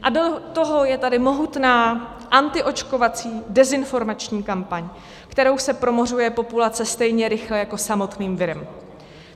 A do toho je tady mohutná antiočkovací dezinformační kampaň, kterou se promořuje populace stejně rychle jako samotným virem.